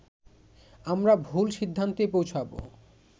আমরা ভুল সিদ্ধান্তে পৌঁছাব